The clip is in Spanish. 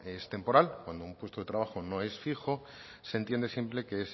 es temporal cuando un puesto de trabajo no es fijo